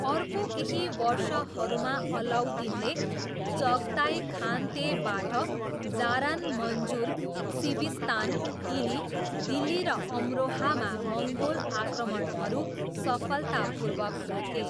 अर्को केही वर्षहरूमा, अलाउद्दिनले चगताई खानतेबाट जारान मञ्जुर, सिविस्तान, किली, दिल्ली र अमरोहामा मङ्गोल आक्रमणहरू सफलतापूर्वक रोके।